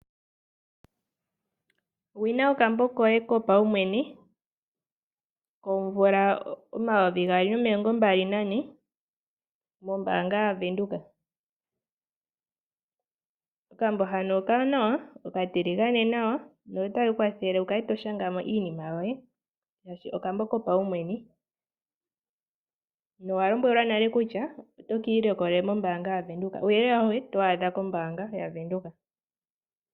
Sindana okambo koye kopaumwene komvula yomayovi gaali nomilongombali nane mombaanga yaVenduka. Okambo hano okawanawa, okatiligane nawa notake ku kwathele wu kale to shanga mo iinima yoye, oshoka okambo kopaumwene. Owa lombwelwa nale kutya oto ka ilikolele mombaanga yaVenduka. Uuyelele auhe oto wu adha kombaanga yaVenduka.